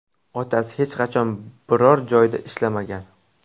Otasi hech qachon biror joyda ishlamagan.